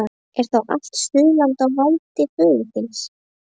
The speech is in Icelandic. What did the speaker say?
Er þá allt Suðurland á valdi föður þíns?